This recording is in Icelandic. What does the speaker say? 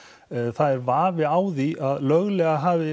það er vafi á því að löglega hafi